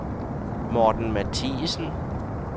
Morten Mathiesen